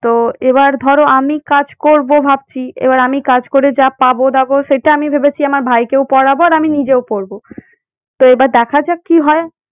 তো এবার ধরো আমি কাজ করব ভাবছি এবার আমি কাজ করে যা পাবো দাবো সেটা আমি ভেবেছি আমার ভাইকেও পড়াবো আর আমি নিজেও পড়বো। তো এবার দেখা যাক কি হয়।